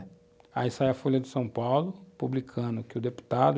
Aí sai a Folha de São Paulo publicando que o deputado